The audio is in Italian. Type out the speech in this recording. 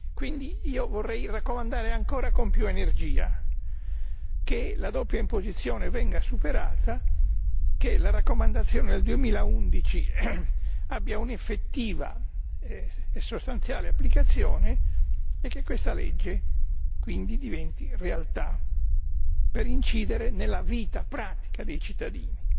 Quindi io vorrei raccomandare ancora con più energia che la doppia imposizione venga superata, che la raccomandazione del 2011 abbia un'effettiva e sostanziale applicazione e che questa legge quindi diventi realtà, per incidere nella vita pratica dei cittadini.